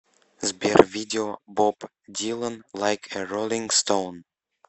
сбер видео боб дилан лайк э роллинг стоун